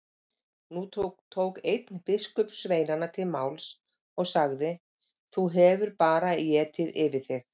Nú tók einn biskupssveinanna til máls og sagði:-Þú hefur bara étið yfir þig.